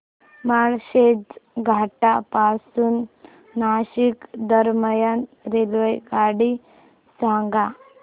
माळशेज घाटा पासून नाशिक दरम्यान रेल्वेगाडी सांगा